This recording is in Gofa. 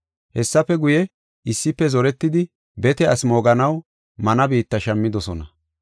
Hessafe guye, issife zoretidi, bete asi mooganaw mana biitta shammidosona.